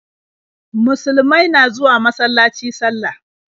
Musulumai na zuwa masalaci sallah.